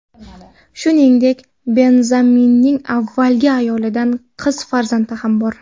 Shuningdek, Benzemaning avvalgi ayolidan qiz farzandi ham bor.